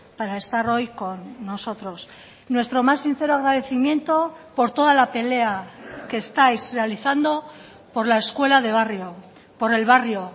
para estar hoy con nosotros nuestro más sincero agradecimiento por toda la pelea que estáis realizando por la escuela de barrio por el barrio